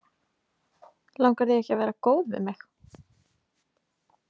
Langar þig ekki að vera góð við mig?